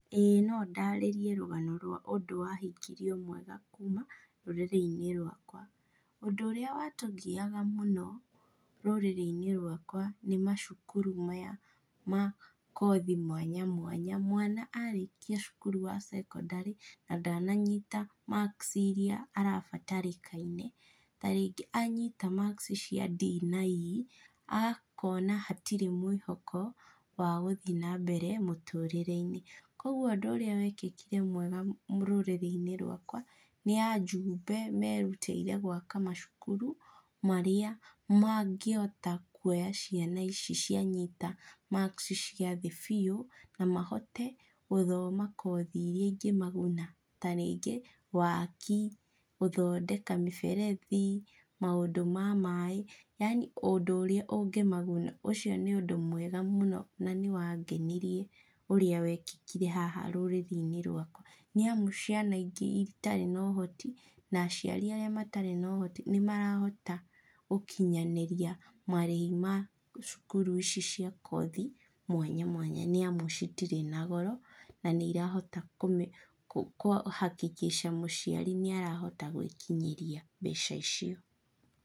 Ĩĩ no ndaarĩrie rũgano rwa ũndũ wahingirio mwega kuuma rũrĩrĩ-inĩ rwakwa. Ũndũ ũrĩa watũgiaga mũno, rũrũrĩ-inĩ rwakwa nĩ macukuru maya ma kothi mwanya mwanya. Mwana arĩkia cukuru wa cekondarĩ, na ndananyita marks irĩa arabatarĩkaine, ta rĩngĩ anyiita marks cia D na E, akona hatirĩ mwĩhoko wa gũthi na mbere mũtũrĩre-inĩ. Koguo ũndũ ũrĩa wekĩkire mwega rũrĩrĩ-inĩ rwakwa, nĩ ajumbe merutĩire gwaka macukuru marĩa mangĩhota kuoya ciana ici cianyita marks cia thĩ biũ, na mahote gũthoma kothi irĩa ingĩmaguna. Ta rĩngĩ waaki, gũthondeka mĩberethi, maũndũ ma maĩ. Yaani o ũndũ ũrĩa ũngĩmaguna. Ũcio nĩ ũndũ mwega mũno na nĩ wangenirie ũrĩa wekĩkire haha rũrĩrĩ-inĩ rwakwa. Nĩ amu ciana ingĩ itarĩ na ũhoti na aciari arĩa matarĩ na ũhoti, nĩ marahota gũkinyanĩria marĩhi ma cukuru ici cia kothi, mwanya mwanya, nĩ amu citirĩ na goro, na nĩ irahota kũ hakikisha mũciari nĩ arahota gwĩkinyĩria mbeca icio.